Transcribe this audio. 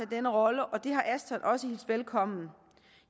den rolle og det har ashton også hilst velkommen